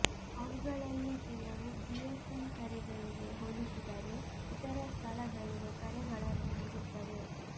ಅವುಗಳಲ್ಲಿ ಕೆಲವು ಜಿಎಸ್ಎಮ್ ಕರೆಗಳಿಗೆ ಹೋಲಿಸಿದರೆ ಇತರ ಸ್ಥಳಗಳಿಗೆ ಕರೆಗಳನ್ನು ನೀಡುತ್ತವೆ